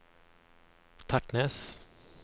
Tertnes